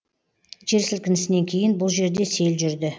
жер сілкінісінен кейін бұл жерде сел жүрді